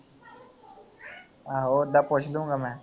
ਆਹੋ ਉਦੋਂ ਪੁੱਛ ਲੂਗਾਂ ਮੈਂ